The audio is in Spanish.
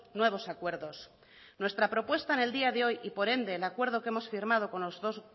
nuevos acuerdos nuestra propuesta en el día de hoy y por ende el acuerdo que hemos firmado con los dos